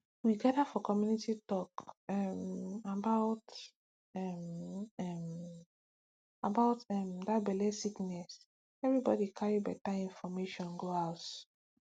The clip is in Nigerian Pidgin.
we gather for community to talk um about um um about um that belle sickness everybody carry better information go house